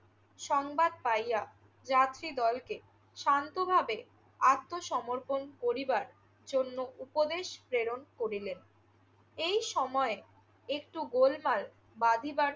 সংবাদ পাইয়া যাত্রীদলকে শান্তভাবে আত্মসমর্পণ করিবার জন্য উপদেশ প্রেরণ করিলেন। এই সময় একটু গোলমাল বাধিবার